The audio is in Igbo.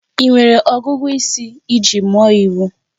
Ị nwere ọgụgụ isi iji mụọ iwu?